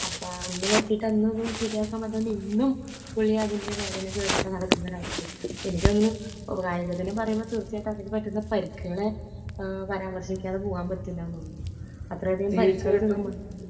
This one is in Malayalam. അപ്പോ അന്ന് പറ്റിയിട്ട് അന്ന് ഇത് ശരിയാക്കാൻ പറ്റാണ്ട് ഇന്നും പുള്ളി അതിന്റെ വേദനയുമായിട്ട് നടക്കുന്ന ഒരു അവസ്ഥയാണ് . എനിക്കു തോന്നുന്നു കായികത്തിനെ പറയുമ്പോ തീർച്ചയായും അതില് പറ്റുന്ന പരിക്കുകളെ പരാമർശിക്കാതെ പോവാൻ പറ്റില്ല തോന്നുന്നു . അത്രയധികം പരിക്കുകൾക്ക് നമ്മൾ